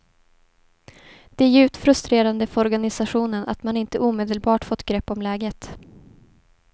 Det är djupt frustrerande för organisationen att man inte omedelbart fått grepp om läget.